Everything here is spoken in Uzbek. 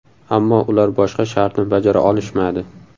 Ammo ular boshqa shartni bajara olishmadi.